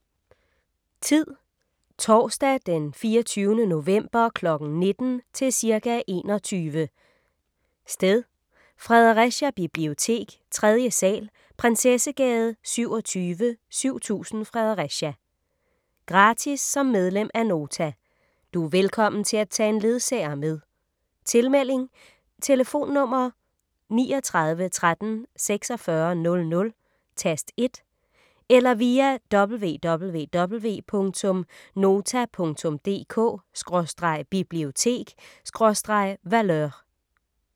Tid: Torsdag d. 24. november kl. 19 til cirka 21 Sted: Fredericia bibliotek, 3. sal. Prinsessegade 27, 7000 Fredericia Gratis som medlem af Nota. Du er velkommen til at tage en ledsager med Tilmelding: Tlf. 39 13 46 00, tast 1 eller via www.nota.dk/bibliotek/Valeur